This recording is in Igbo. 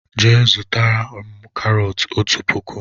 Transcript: Jee zụtara mụ karot ọtu pụkụ!!!!